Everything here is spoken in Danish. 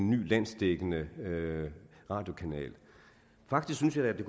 ny landsdækkende radiokanal faktisk synes jeg at det